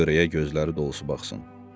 Yan-yörəyə gözləri dolusu baxsın.